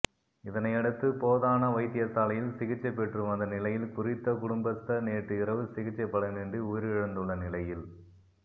இதனையடுத்து போதனா வைத்தியசாலையில் சிகிச்சை பெற்றுவந்த நிலையில் குறித்த குடும்பஸ்தர் நேற்று இரவு சிகிச்சை பலனின்றி உயிரிழந்துள்ள நிலையில்